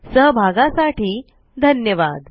सहभागासाठी धन्यवाद